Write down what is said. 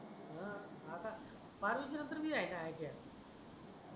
हा आता फॉरेन्सिक नंतर बी आहे का iti